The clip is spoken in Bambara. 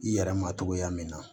I yɛrɛ ma cogoya min na